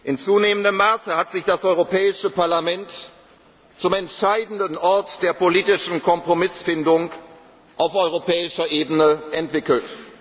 gefasst. In zunehmendem Maße hat sich das Europäische Parlament zum entscheidenden Ort der politischen Kompromissfindung auf europäischer Ebene entwickelt.